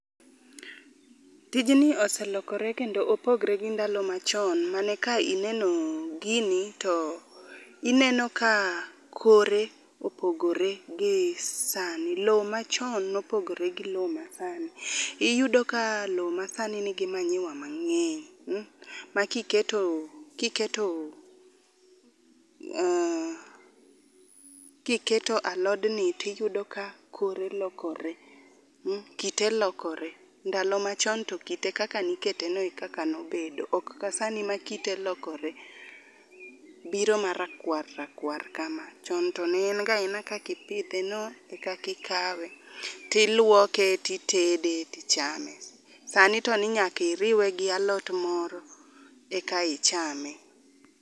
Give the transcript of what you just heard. Tijni ose lokore kendo opogore gi ndalo machon mane ka ineno gini to ineno ka kore opogore gi sani. Lowo machon ne opogore gi lowo masani. Iyudo ka lowo masani nigi manyiwa mang'eny ma kiketo, kiketo mm kiketo alodni to iyudo ka kore lokore, mm kite lokore. Ndalo machon to kite kaka ne iketeno e kaka nobedo ok kasani ma kite lokore, biro marakwar rakwar kama. Chon to ne en ga kaka ipidheno e kaka ikawe, to iluoke to itede, to ichame. Sani to ni nyaka iriwe gi alot moro eka ichame.